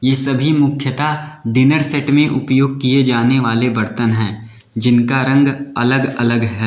ये सभी मुख्यतः डिनर सेट में उपयोग किए जाने वाले बर्तन हैं जिनका रंग अलग-अलग है।